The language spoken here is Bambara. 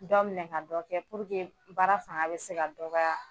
Dɔ minɛ ka dɔ kɛ purke baara fanga bɛ se ka dɔgɔya.